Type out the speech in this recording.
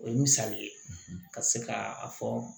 O ye misali ye ka se ka a fɔ